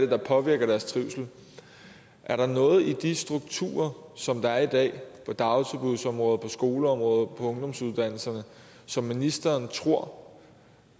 der påvirker deres trivsel er der noget i de strukturer som der er i dag på dagtilbudsområdet på skoleområdet på ungdomsuddannelserne som ministeren tror